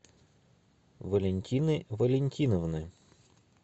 валентины валентиновны